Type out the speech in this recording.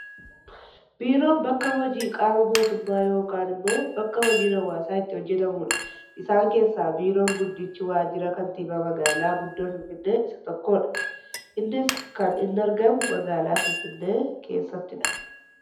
Biiroon bakka hojii qaama mootummaa yookaan immoo bakka hojiin hawaasaa itti hojjetamudha. Isaan keessaa biiroon guddichi waajira kantiibaa magaalaa guddoo finfinnee isa tokkodha. Innis kan inni argamu magaalaa finfinnee keessatidha.